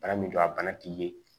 Bana min don a bana t'i ye